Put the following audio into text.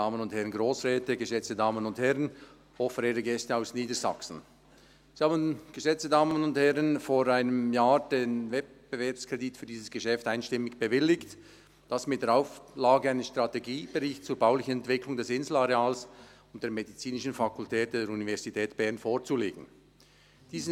Der Grosse Rat bewilligte vor einem Jahr den Wettbewerbskredit für dieses Geschäft einstimmig mit der Auflage, dass ein Strategiebericht zur baulichen Entwicklung des Inselareals und der medizinischen Fakultät der Universität Bern vorzulegen sei.